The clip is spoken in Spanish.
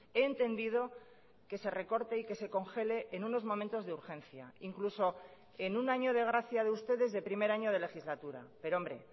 he entendido que se recorte y que se congele en unos momentos de urgencia incluso en un año de gracia de ustedes de primer año de legislatura pero hombre